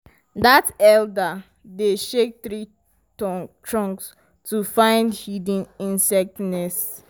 dat elder dey shake tree trunks to find hidden insect nests.